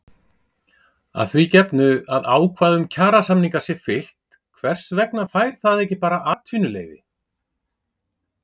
Að því gefnu að ákvæðum kjarasamninga sé fylgt hvers vegna fær það ekki bara atvinnuleyfi?